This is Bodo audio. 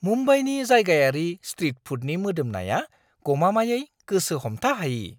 मुम्बाइनि जायगायारि स्ट्रिट फुडनि मोदोमनाया गमामायै गोसो हमथा हायि!